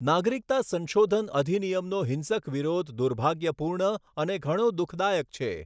નાગરિકતા સંશોધન અધિનિયમનો હિંસક વિરોધ દુર્ભાગ્યપૂર્ણ અને ઘણો દુખદાયક છે.